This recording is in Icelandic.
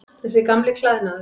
Þessi gamli klæðnaður.